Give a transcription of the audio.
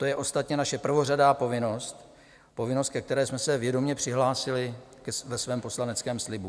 To je ostatně naše prvořadá povinnost, povinnost, ke které jsme se vědomě přihlásili ve svém poslaneckém slibu.